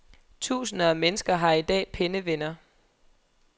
Tusinder af mennesker har i dag pennevenner.